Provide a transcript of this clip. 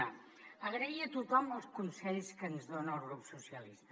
una agrair a tothom els consells que ens dona al grup socialista